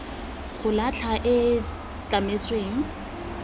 go latlha e e tlametsweng